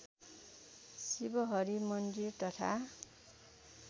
शिवहरि मन्दिर तथा